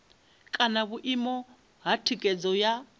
kana vhuimo ha thikhedzo ya